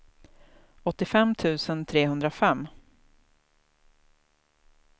åttiofem tusen trehundrafem